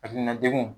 Hakilina degun